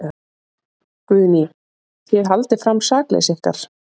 Guðný: Þið haldið fram sakleysi ykkar?